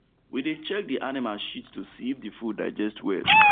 we dey check the animal shit to see if the food digest well